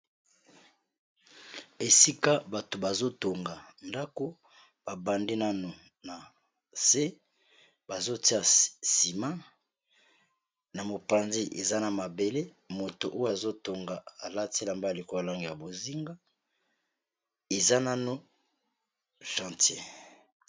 Esika bato bazo tonga ndako ba bandi nano na se ba zotia sima na mopanzi eza na mabele moto oyo azo tonga alati elamba ya likolo ya langi ya bozinga eza nano chantien.